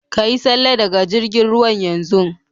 Ka Yi salle daga jirgin ruwan yanzun.